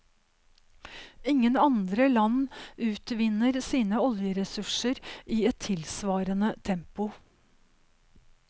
Ingen andre land utvinner sine oljeressurser i et tilsvarende tempo.